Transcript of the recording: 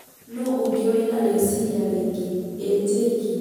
nũ ũngĩ wĩna rĩciria rĩngĩ?ĩĩ Jake